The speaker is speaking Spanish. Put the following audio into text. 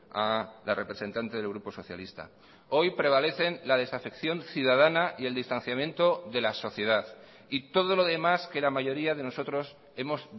a la representante del grupo socialista hoy prevalecen la desafección ciudadana y el distanciamiento de la sociedad y todo lo demás que la mayoría de nosotros hemos